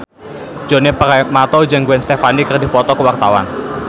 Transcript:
Djoni Permato jeung Gwen Stefani keur dipoto ku wartawan